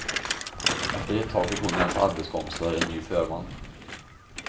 Efter ett tag fick hon och hennes arbetskompisar en ny förman.